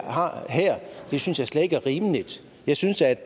har her synes jeg slet ikke er rimeligt jeg synes at